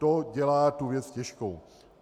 To dělá tu věc těžkou.